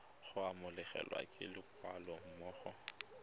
go amogelwa ke leloko gammogo